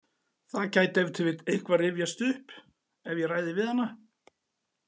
Það gæti ef til vill eitthvað rifjast upp ef ég ræði við hana.